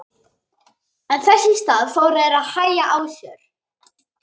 En þess í stað fóru þeir að hægja á sér.